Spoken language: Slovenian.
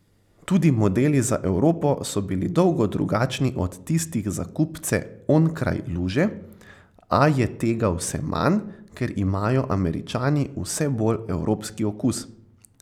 Tudi modeli za Evropo so bili dolgo drugačni od tistih za kupce onkraj luže, a je tega vse manj, ker imajo Američani vse bolj evropski okus.